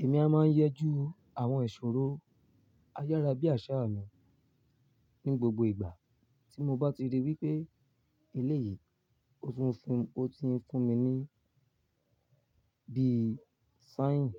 Èmi a máa ń yẹ ju àwọn ìṣòro ayárábiàsà mi ní gbogbo ìgbà tí mo bá ti rí wípé eléyìí ó ti ń fún mi ní bí signs